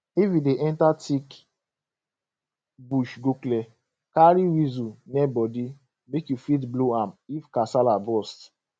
if you dey enter thick bush go clear carry whistle near body make you fit blow am if kasala burst